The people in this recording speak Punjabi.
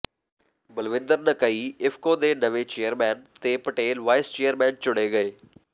ਬਲਵਿੰਦਰ ਨਕਈ ਇਫਕੋ ਦੇ ਨਵੇਂ ਚੇਅਰਮੈਨ ਤੇ ਪਟੇਲ ਵਾਈਸ ਚੇਅਰਮੈਨ ਚੁਣੇ ਗਏ